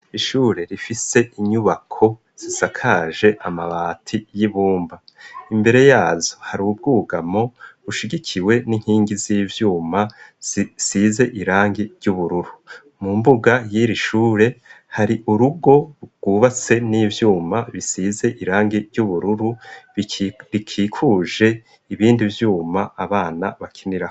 Ishure rifise inyubako sisakaje amabati y'ibumba imbere yazo hari ubwugamo rushigikiwe n'inkingi z'ivyuma size irangi ry'ubururu mu mbuga yira ishure hari urugo rugubatse n'ivyuma bisize irangi ry'ubururu rikikuje ibindi vyuma abana bakinira.